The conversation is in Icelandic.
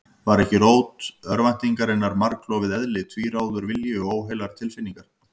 Var ekki rót örvæntingarinnar margklofið eðli, tvíráður vilji og óheilar tilfinningar?